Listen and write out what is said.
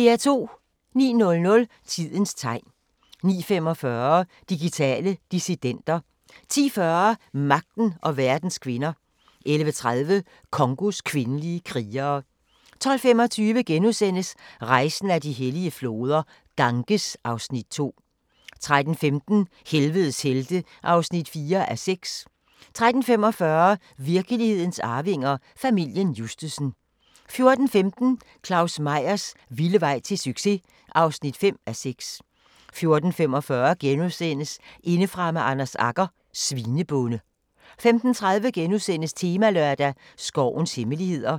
09:00: Tidens tegn 09:45: Digitale dissidenter 10:40: Magten og verdens kvinder 11:30: Congos kvindelige krigere 12:25: Rejsen ad de hellige floder - Ganges (Afs. 2)* 13:15: Helvedes helte (4:6) 13:45: Virkelighedens arvinger: Familien Justsen 14:15: Claus Meyers vilde vej til succes! (5:6) 14:45: Indefra med Anders Agger – Svinebonde * 15:30: Temalørdag: Skovens hemmeligheder *